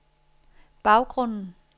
baggrunden